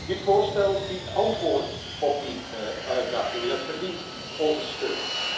Dit voorstel biedt antwoorden op die uitdagingen en het verdient onze steun.